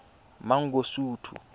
mangosuthu